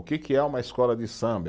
O que que é uma escola de samba?